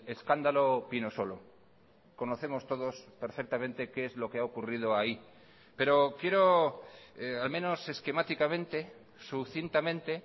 escándalo pinosolo conocemos todos perfectamente qué es lo que ha ocurrido ahí pero quiero al menos esquemáticamente sucintamente